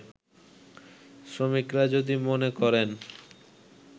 শ্রমিকরা যদি মনে করেন